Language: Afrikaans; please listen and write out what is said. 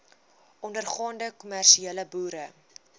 ondergaande kommersiële boere